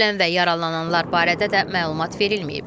Ölən və yaralananlar barədə də məlumat verilməyib.